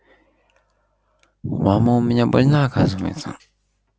мама у меня больна оказывается